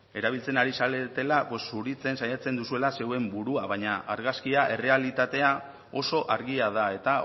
erabiltzen ari zaretela zuritzen saiatzen duzuela zeuen burua baina argazkia errealitatea oso argia da eta